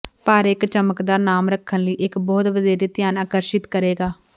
ਪਰ ਇੱਕ ਚਮਕਦਾਰ ਨਾਮ ਰੱਖਣ ਲਈ ਇੱਕ ਬਹੁਤ ਵਧੇਰੇ ਧਿਆਨ ਆਕਰਸ਼ਿਤ ਕਰੇਗਾ